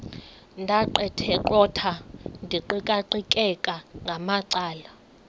ndaqetheqotha ndiqikaqikeka ngamacala